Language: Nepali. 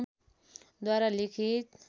द्वारा लिखित